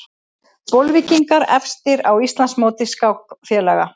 Bolvíkingar efstir á Íslandsmóti skákfélaga